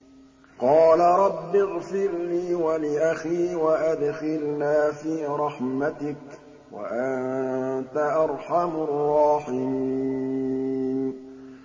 قَالَ رَبِّ اغْفِرْ لِي وَلِأَخِي وَأَدْخِلْنَا فِي رَحْمَتِكَ ۖ وَأَنتَ أَرْحَمُ الرَّاحِمِينَ